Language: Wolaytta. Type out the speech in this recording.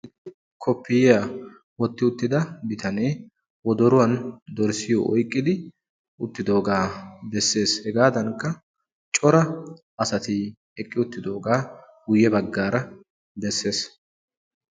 Koppiyaa wotti uttida bitanne wodoruwaani dorssiyo oyqqidi uttidogga besses. Hegadanikka cora asatti eqqiuttidogga guyebaggara besses.